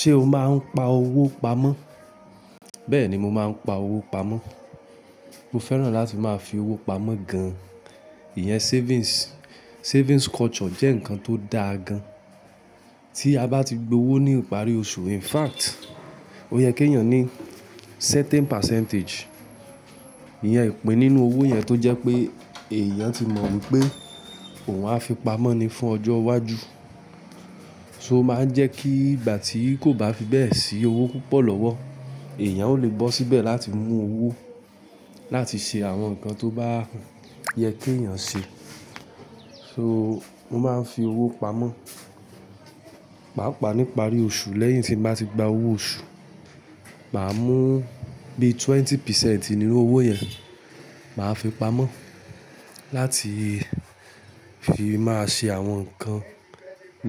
Ṣé o máa ń pa owó pamọ́? Bẹ́ẹ̀ni, mo máa ń pa owó pamọ́. Mo fẹ́ràn láti máa fi owó pamọ́ gan-an. Iyẹn savings, savings culture jẹ́ nǹkan tó da gan-an. Tí a bá ti gbowó ní ìparí oṣù, in fact, ó yẹ kí èèyàn ní certain percentage, ìyẹn ìpè nínú owó yẹn tó jẹ́ pé èèyàn ti mọ̀ wípé òun á fi pamọ́ ni fún ọjọ́ iwájú. So máa ń jẹ́ kí ìgbà tí kò bá fi bẹ́ẹ̀ sí owó púpọ̀ lọ́wọ́, èèyàn ò lé bọ́ síbẹ̀ láti mú owó láti ṣe àwọn nǹkan tó bá yẹ kí èèyàn ṣe. So mo máa ń fi owó pamọ́. Pàápàá nípa rí oṣù, lẹ́yìn tí mo bá ti gba owó oṣù, màá mú bí twenty percent nínú owó yẹn, màá fi pamọ́ láti fi máa ṣe àwọn nǹkan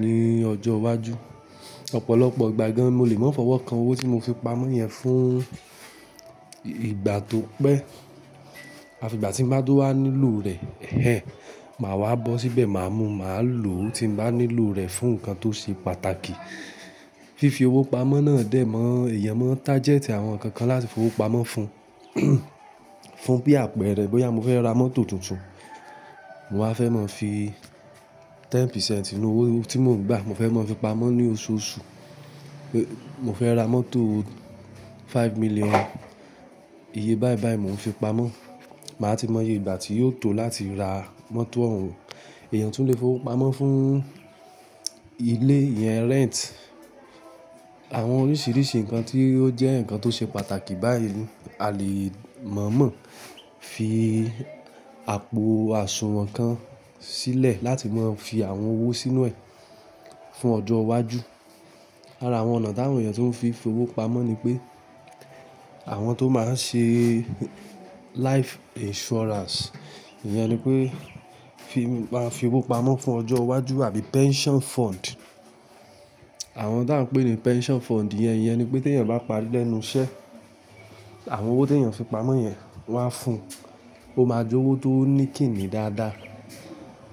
ní ọjọ́ iwájú. Ọ̀pọ̀lọpọ̀ ìgbà gan-an mo lè máa fọwọ́ kan owó tí mo fi pamọ́ yẹn fún ìgbà tó pé, àfi ìgbà tí mo bá dúró wá nílò rẹ̀, ẹhẹn, màá wá bọ́ síbẹ̀, màá mú, màá lò tí mo bá nílò rẹ̀ fún nǹkan tó ṣe pàtàkì. Fifi owó pamọ́ náà dè mó, èèyàn máa ń target àwọn nǹkan kan láti fi owó pamọ́ fun fún bí àpẹẹrẹ bóyá mo fẹ́ ra mọ́tò tuntun, mo á fẹ́ mọ fi ten percent inú owó tí mo ń gbà. Mo fẹ́ mọ fi pamọ́ ní oṣooṣù. Mo fẹ́ ra mọ́tò five million. Iye bàìbàì móò n fi pamọ́. Màá ti mọ iye ìgbà tí yóò tó láti ra mọ́tò òun. Èèyàn tún le fi owó pamọ́ fún ilé, iyẹn rent, àwọn oríṣiríṣi nǹkan tí ó jẹ́ nǹkan tó ṣe pàtàkì báàyíì a lè mọ̀ mọ̀ fi àpò àsùnwọ̀n kan sílẹ̀ láti máa fi àwọn owó sínú ẹ̀ fún ọjọ́ iwájú. Ara àwọn ọ̀nà táwọn èèyàn tó ń fi fi owó pamọ́ ni pé àwọn tó máa ń ṣe life insurance. Iyẹn ni pé fi máa fi owó pamọ́ fún ọjọ́ iwájú àbí pension fund. Àwọn ti à ń pè ní pension fund yẹn, iyẹn ni pé tí èèyàn bá pa lẹ́nu iṣẹ́, àwọn owó tí èèyàn fi pamọ́ yẹn wá fún. Ó máa jọ̀wọ́ tó ní kìmí dáadáa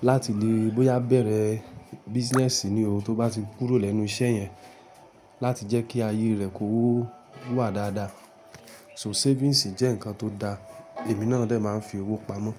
láti lè bóyá bẹ̀rẹ̀ business ní o tó bá ti kúrò lẹ́nu iṣẹ́ yẹn láti jẹ́ kí ayé rẹ̀ kó wà dáadáa. So savings jẹ́ nǹkan tó da. Èmi náà dè máa ń fi owó pamọ́.